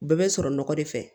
U bɛɛ bɛ sɔrɔ nɔgɔ de fɛ